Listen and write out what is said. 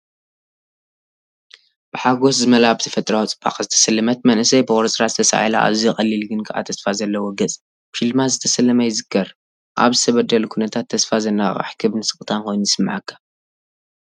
ብሓጎስ ዝመልኣ፡ ብተፈጥሮኣዊ ጽባቐ ዝተሰለመት መንእሰይ፡ ብቑርጽራጽ ተሳኢላ። ኣዝዩ ቀሊል ግን ከኣ ተስፋ ዘለዎ ገጽ፡ ብሽልማት ዝተሰለመ፡ ይዝከር፤ ኣብ ዝተበደለ ኩነታት ተስፋ ዘነቓቕሕ ሕብርን ስቕታን ኮይኑ ይስምዓካ።